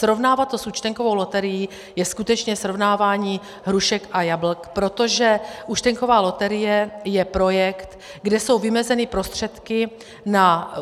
Srovnávat to s účtenkovou loterií je skutečně srovnávání hrušek a jablek, protože účtenková loterie je projekt, kde jsou vymezeny prostředky na